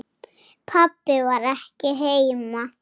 Pabbi var ekki heima.